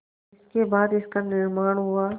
जिसके बाद इसका निर्माण हुआ